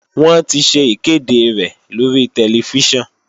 Wọ́n ti ṣe ìkéde rẹ̀ lórí tẹlifíṣàn